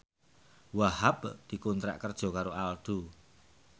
Wahhab dikontrak kerja karo Aldo